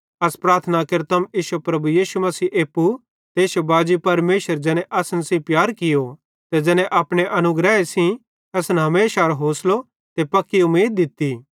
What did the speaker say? अस प्रार्थना केरतम इश्शो प्रभु यीशु मसीह एप्पू ते इश्शो बाजी परमेशर ज़ैने असन सेइं प्यार कियो ते ज़ैने अपने अनुग्रहे सेइं असन हमेशारो होसलो ते पक्की उमीद दित्ती